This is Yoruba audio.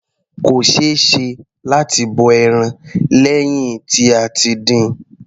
Kò ṣeéṣe láti bọ ẹran lẹ́hìn tí a ti dín-in.